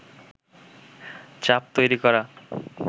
চাপ তৈরী করা